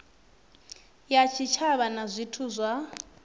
ya tshitshavha na zwithu zwa